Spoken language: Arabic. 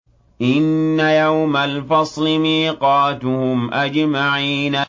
إِنَّ يَوْمَ الْفَصْلِ مِيقَاتُهُمْ أَجْمَعِينَ